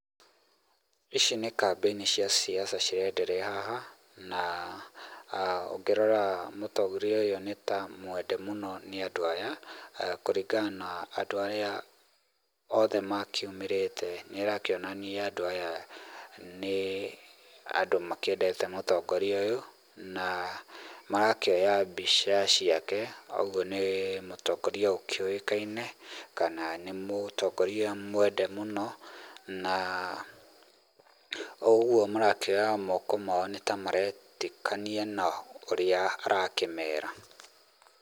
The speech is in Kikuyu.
Ici nĩ kambĩini cia siasa cirenderea haha na ũngĩrora mũtongoria ũyũ nĩ ta mwende mũno nĩ andũ aya, kũringana na andũ arĩa othe makiumĩrĩte nĩrakĩonania andũ aya nĩ andũ makĩendete mũtongoria ũyũ, na marakĩoya mbica ciake, ũguo nĩ mũtongoria ũkĩũĩkaine, kana nĩ mũtongoria mwende mũno, na ũgũo marakĩoya moko mao nĩ ta maretĩkania na ũrĩa arakĩmera.